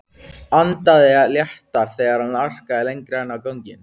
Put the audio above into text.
Andaði léttar þegar hann arkaði lengra inn á ganginn.